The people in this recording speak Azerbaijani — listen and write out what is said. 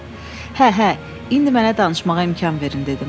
"Hə, hə, indi mənə danışmağa imkan verin" dedim.